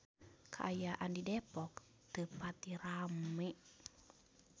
Kaayaan di Depok teu pati rame